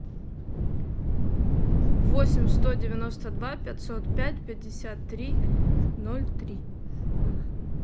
восемь сто девяносто два пятьсот пять пятьдесят три ноль три